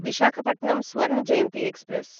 Visakhapatnam Swarna Jayanti express